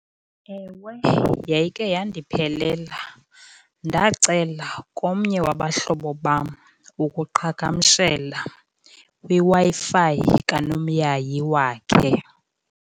Ewe, yayikhe yandiphelela. Ndacela komnye wabahlobo bam ukuqhagamshela kwiWi-Fi kanomyayi wakhe.